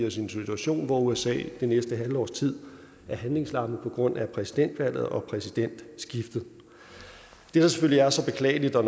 os i en situation hvor usa det næste halve års tid er handlingslammet på grund af præsidentvalget og præsidentskiftet det der selvfølgelig er så beklageligt og